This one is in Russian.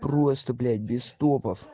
просто блять без топов